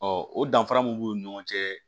o danfara mun b'u ni ɲɔgɔn cɛ